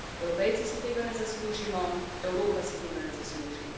Evropejci si tega ne zaslužimo, Evropa si tega ne zasluži.